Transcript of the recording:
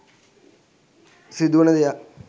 සිදුවන දෙයක්.